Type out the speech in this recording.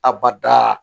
Abada